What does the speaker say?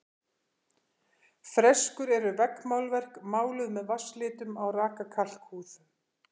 Freskur eru veggmálverk, máluð með vatnslitum á raka kalkhúð.